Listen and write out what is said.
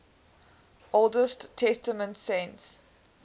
old testament saints